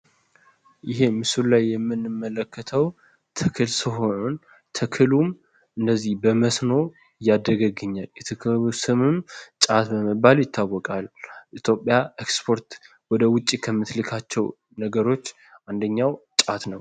ይሄ ምስሉ ላይ የምንመለከተው ተክል ሲሆን ተክሉም እንደዚህ በመስኖ ያደገ ተክል ስሙም ጫት በመባል ይታወቃል። ኢትዮጵያ ወደውጪ ከምትልካቸው አንደኛው ጫት ነው።